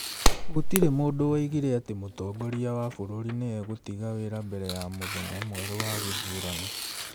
Gũtirĩ mũndũ woigire atĩ mũtongoria wa bũrũri nĩ egũtiga wĩra mbere ya mũthenya mwerũ wa gĩthurano.